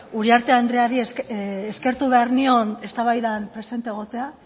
uriarte andreari eskertu behar nion eztabaidan presente egotea